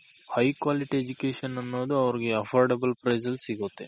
High Quality Education ಅನ್ನೋದು ಅವರ್ಗೆ Affordable Price ಅಲ್ ಸಿಗುತ್ತೆ.